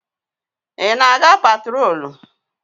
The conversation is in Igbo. Ị na-aga patrolu?